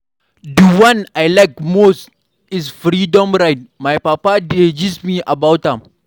The one I like most is freedom ride. My papa dey gist me about am.